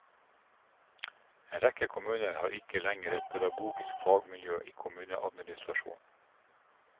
En rekke kommuner har ikke lenger et pedagogisk faglig miljø i kommuneadministrasjonen.